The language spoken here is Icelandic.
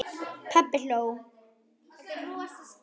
Pabbi hló.